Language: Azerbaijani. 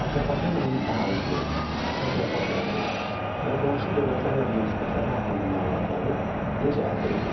Atropatenanın əhalisi, təsərrüfat həyatı və qonşu dövlətlərlə münasibətləri haqqında məlumatları necə əldə edirik?